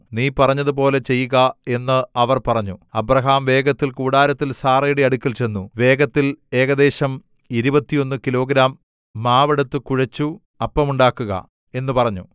നീ പറഞ്ഞതുപോലെ ചെയ്യുക എന്ന് അവർ പറഞ്ഞു അബ്രാഹാം വേഗത്തിൽ കൂടാരത്തിൽ സാറയുടെ അടുക്കൽ ചെന്നു വേഗത്തിൽ ഏകദേശം 21 കിലോഗ്രാം മാവ് എടുത്തു കുഴച്ചു അപ്പമുണ്ടാക്കുക എന്നു പറഞ്ഞു